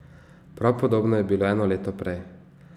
Prav podobno je bilo eno leto prej.